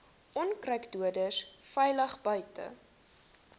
onkruiddoders veilig buite